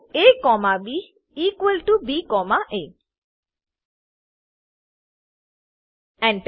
A comma B equal T O B comma A Enter